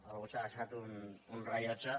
algú s’ha deixat un rellotge